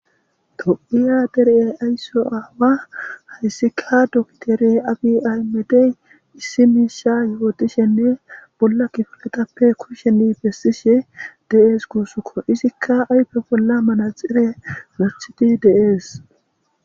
tophiya dere ayso aawa hayssika dokiteeriye abi aymedey issi miisha yuotishenne bolla kifunetappe kusheni bessishe de'ees guusukko. izikka ayfe bolla manaxefe morthiti deees.